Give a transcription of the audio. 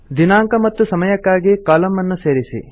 ದಿನಾಂಕ ಮತ್ತು ಸಮಯಕ್ಕಾಗಿ ಕಾಲಮ್ ಅನ್ನು ಸೇರಿಸಿ